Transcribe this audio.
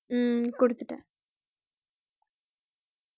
ஹம் குடுத்துட்டேன்